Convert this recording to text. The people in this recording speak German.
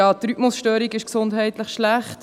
Die Rhythmusstörung ist gesundheitlich schlecht.